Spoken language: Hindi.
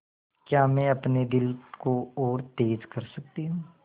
क्या मैं अपने दिल को और तेज़ कर सकती हूँ